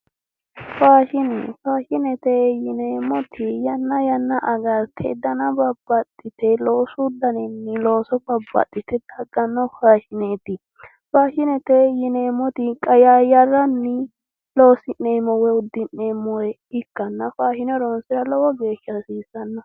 Faashine faashinete yineemmoti yanna yanna agarte dana babbaxxite loosu daninni looso babbaxxite dagganno faashineeti faashinete yineemmoti qayaayyarranni loosi'neemmo woyi uddi'neemmore ikkanna faashine horoonsira lowo geesha hasiissanno